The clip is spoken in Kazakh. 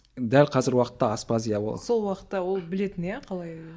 дәл қазіргі уақытта аспаз иә ол сол уақытта ол білетін иә қалай